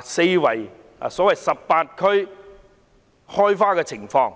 所謂 "18 區開花"的情況。